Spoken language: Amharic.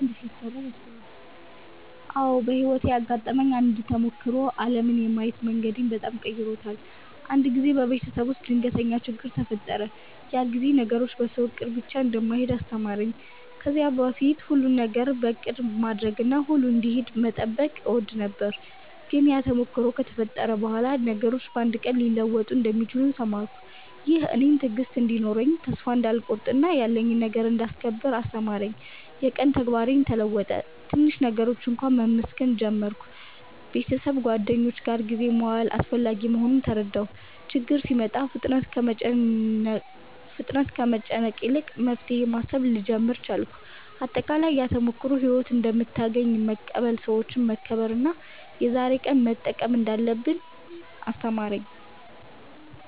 አዎ፣ በሕይወቴ ያጋጠመኝ አንድ ተሞክሮ ዓለምን የማየት መንገዴን በጣም ቀይሮታል። አንድ ጊዜ በቤተሰብ ውስጥ ድንገተኛ ችግኝ ተፈጠረ፤ ያ ጊዜ ነገሮች በሰው እቅድ ብቻ እንደማይሄዱ አስተማረኝ። ከዚያ በፊት ሁሉን ነገር እቅድ ማድረግና ሁሉ እንዲሄድ መጠበቅ እወድ ነበር፤ ግን ያ ተሞክሮ ከተፈጠረ በኋላ ነገሮች በአንድ ቀን ሊለወጡ እንደሚችሉ ተማርኩ። ይህም እኔን ትዕግሥት እንዲኖረኝ፣ ተስፋ እንዳልቆርጥ እና ያለኝን ነገር እንዳስከብር አስተማረኝ። የቀን ተግባሬም ተለወጠ፤ ትንሽ ነገሮችን እንኳ መመስገን ጀመርሁ። ቤተሰብና ጓደኞች ጋር ጊዜ መዋል አስፈላጊ መሆኑን ተረዳሁ። ችግኝ ሲመጣ ፍጥነት ከመጨነቅ ይልቅ መፍትሄ ማሰብ ልጀምር ቻልኩ። አጠቃላይ፣ ያ ተሞክሮ ሕይወት እንደምታገኘን መቀበል፣ ሰዎችን መከብር እና የዛሬን ቀን መጠቀም እንዳለብኝ አስተማረኝ።